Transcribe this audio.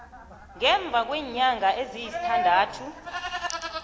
ngemva kweenyanga eziyisithandathu